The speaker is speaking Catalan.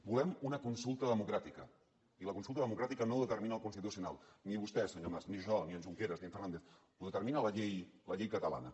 volem una consulta democràtica i la consulta democràtica no la determina el constitucional ni vostè senyor mas ni jo ni en junqueras ni en fernández la determina la llei catalana